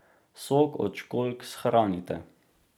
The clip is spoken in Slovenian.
Sok od školjk shranite.